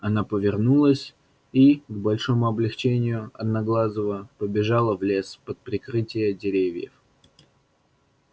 она повернулась и к большому облегчению одноглазого побежала в лес под прикрытие деревьев